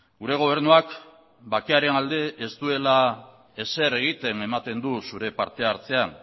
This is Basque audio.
gure gobernuak bakearen alde ez duela ezer egiten ematen du zure partehartzean